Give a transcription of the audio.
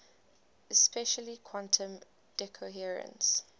especially quantum decoherence